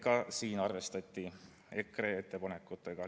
Ka siin arvestati EKRE ettepanekutega.